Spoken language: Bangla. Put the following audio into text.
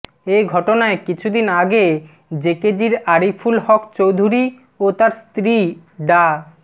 এ ঘটনায় কিছুদিন আগে জেকেজির আরিফুল হক চৌধুরী ও তার স্ত্রী ডা